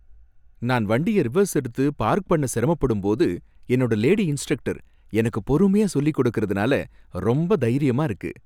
நான் வண்டிய ரிவர்ஸ் எடுத்து பார்க் பண்ண சிரமப்படும் போது என்னோட லேடி இன்ஸ்ட்ரக்டர் எனக்கு பொறுமையா சொல்லிக் கொடுக்கிறதுனால ரொம்ப தைரியமா இருக்கு.